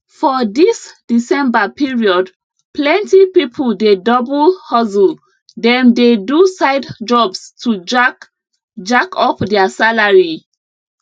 for dis december period plenty pipo dey double hustle dem dey do side jobs to jack jack up their salary